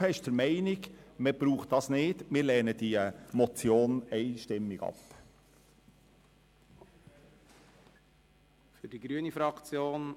Die glp ist der Meinung, es brauche diesen Vorstoss nicht und lehnt die Motion einstimmig ab.